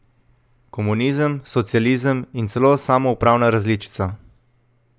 Komunizem, socializem in celo samoupravna različica.